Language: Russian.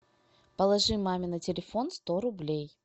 положи маме на телефон сто рублей